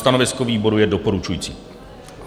Stanovisko výboru je doporučující.